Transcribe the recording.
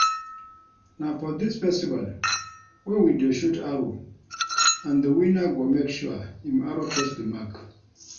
Na for dis festival wey we dey shoot arrow and the winner go make sure im arrow touch the mark